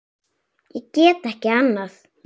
Ég get ekki annað.